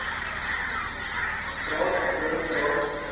draad doringdraad gespan